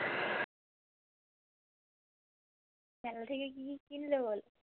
মেলা থেকে কি কি কিনলে বলো?